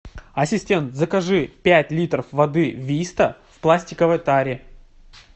ассистент закажи пять литров воды виста в пластиковой таре